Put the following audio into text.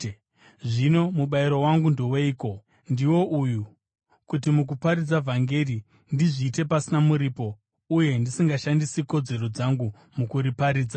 Zvino mubayiro wangu ndoweiko? Ndiwo uyu, kuti mukuparidza vhangeri ndizviite pasina muripo, uye ndisingashandisi kodzero dzangu mukuriparidza.